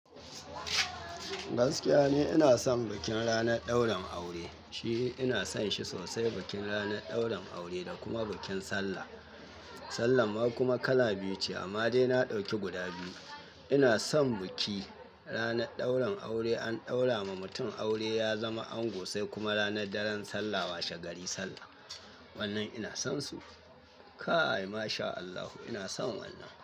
Gaskiya ne ina son bikin ranar daurin aure. Shi ina son shi sosai bikin ranar daurin aure da kuma bikin sallah. Sallah kuma kala biyu ce amma dai na dauki guda biyu. Ina son biki. Ranar daurin aure an daura ma mutum aure ya zama ango sai kuma ranar daren sallah washe gari sallah. Wannan ina son su. Kaai mashallah ina son wannan.